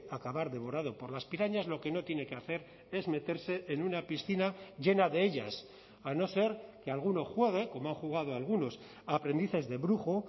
acabar devorado por las pirañas lo que no tiene que hacer es meterse en una piscina llena de ellas a no ser que alguno juegue como han jugado algunos aprendices de brujo